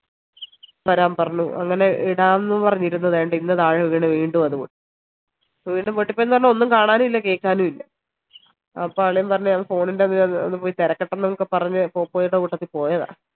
വരാൻ പറഞ്ഞു അങ്ങനെ ഇടാംന്ന് പറഞ്ഞു ഇരുന്നത ദേണ്ടാ ഇന്ന് താഴെ വീണ് വീണ്ടും അത് പൊട്ടി ഇപ്പോ വീണ്ടും പൊട്ടിപ്പോയിന്ന് പറഞ്ഞ് ഒന്നും കാണാനുഇല്ല കേക്കാനു ഇല്ല അപ്പോ അളിയൻ പറഞ്ഞു ഞാൻ phone ന്റെ ഒന്ന് പോയി തെരക്കട്ടെ എന്നൊക്കെ പറഞ് പോപ്പോയേന്റെ കൂട്ടത്തി പോയതാ